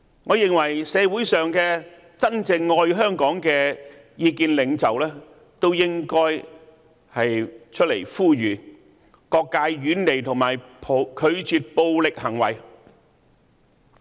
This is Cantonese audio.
我認為社會上的真正愛香港的意見領袖，都應該出來呼籲各界遠離及拒絕暴力行為。